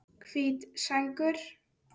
Hvít sængur